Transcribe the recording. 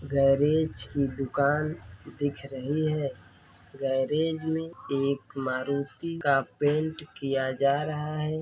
Garage की दुकान दिख रही है। गैरेज में एक मारुति का पेंट किया जा रहा है।